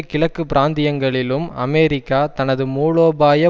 கிழக்கு பிராந்தியங்களிலும் அமெரிக்கா தனது மூலோபாய